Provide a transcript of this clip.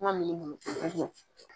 Kuma min